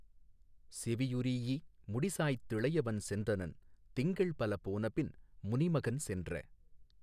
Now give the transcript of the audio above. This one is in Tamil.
செவியுறீஈ முடிசாய்த்திளையவன் சென்றனன் திங்கள்பலபோனபின் முனிமகன் சென்ற.